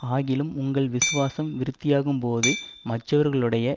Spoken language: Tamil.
ஆகிலும் உங்கள் விசுவாசம் விருத்தியாகும்போது மற்றவர்களுடைய